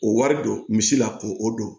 O wari don misi la ko o don